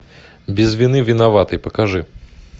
без вины виноватый покажи